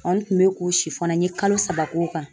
n kun bɛ ko n ye kalo saba k'o kan.